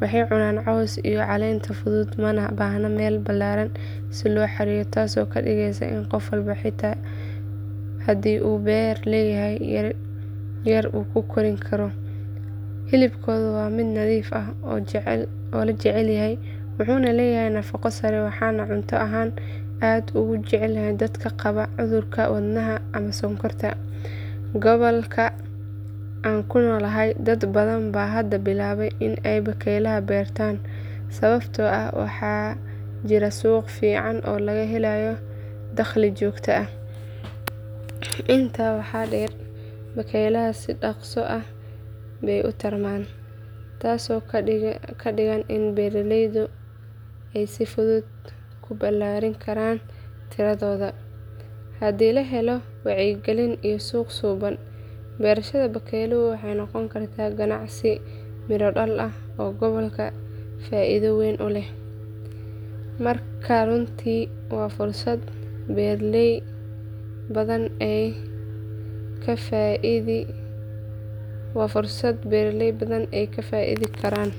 Waxay cunaan cawska iyo caleenta fudud mana baahna meel ballaaran si loo xareeyo taasoo ka dhigaysa in qof walba xitaa haddii uu beeri leeyahay yar uu ku kori karo. Hilibkooda waa mid nadiif ah oo la jecel yahay wuxuuna leeyahay nafaqo sare waxaana cunto ahaan aad u jecel dadka qaba cudurrada wadnaha ama sonkorta. Gobolka aan ku noolahay dad badan baa hadda bilaabay in ay bakaylaha beertaan sababtoo ah waxaa jira suuq fiican oo laga helayo dakhli joogto ah. Intaa waxaa dheer bakaylaha si dhaqso ah bay u tarmaan taasoo ka dhigan in beeraleyda ay si fudud ku ballaarin karaan tiradooda. Haddii la helo wacyigelin iyo suuq suuban, beerashada bakaylaha waxay noqon kartaa ganacsi miro dhal ah oo gobolka faa’iido weyn u leh. Marka runtii waa fursad beeraley badan ay ka faa’iidi karaan.